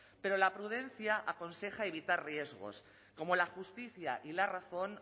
pero la prudencia aconseja evitar riesgos como la justicia y la razón